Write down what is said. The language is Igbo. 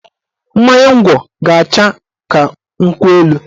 Mmanya ngwọ ga-acha ka nkwụ elu